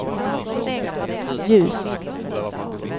ljus